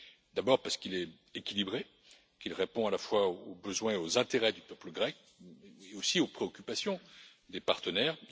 D'abord, parce qu'il est équilibré, qu'il répond à la fois aux besoins et aux intérêts du peuple grec ainsi qu'aux préoccupations des partenaires.